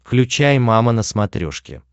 включай мама на смотрешке